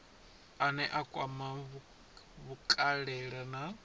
ane a kwama vhukale na